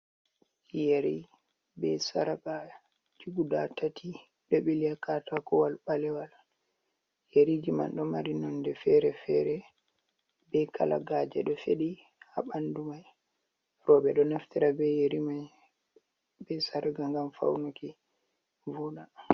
Yeri bee sargaaji guda tati ɗo ɓili haa katakuwal ɓalewal. Yeriji man ɗo mari nonɗe feere-feere bee kalagaaje ɗo fedi haa ɓanndu may. Rewbe ɗo naftira bee yeri may bee sarga ngam fawnuki voda.